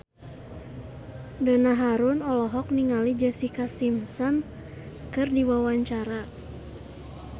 Donna Harun olohok ningali Jessica Simpson keur diwawancara